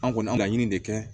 An kɔni an ka laɲini de kɛ